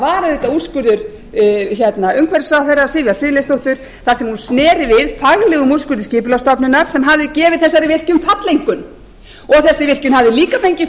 var auðvitað úrskurður umhverfisráðherra sivjar friðleifsdóttur þar sem hún sneri við faglegum úrskurðum skipulagsstofnunar sem hafði gefið þessari virkjun falleinkunn og þessi virkjun hafði líka fengið